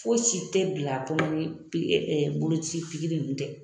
Fosi tɛ bila a kɔnɔ ni boloci ninnu tɛ.